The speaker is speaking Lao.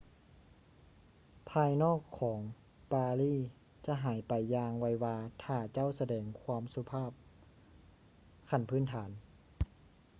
ພາຍນອກຂອງປາຣີຈະຫາຍໄປຢ່າງໄວວາຖ້າເຈົ້າສະແດງຄວາມສຸພາບຂັ້ນພື້ນຖານ